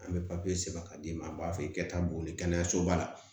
An bɛ papiye sɛbɛn ka d'i ma an b'a f'i ye ka taa boli kɛnɛyasoba la